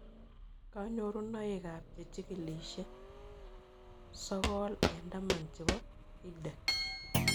Kanyrorunoik ab Chikilishet sokol eng'taman chepo EdTech